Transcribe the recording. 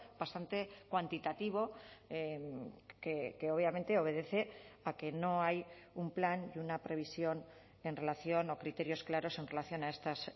bastante cuantitativo que obviamente obedece a que no hay un plan y una previsión en relación o criterios claros en relación a estas